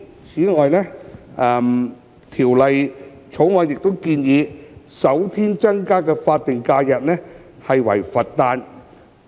此外，《條例草案》建議首先新增的法定假日為佛誕。